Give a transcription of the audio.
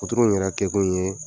Puturu in yɛrɛ kɛkun ye